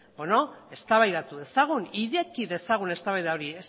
eztabaidatu dezagun ireki dezagun eztabaida hori